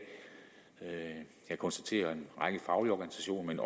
jeg konstaterer at en række faglige organisationer men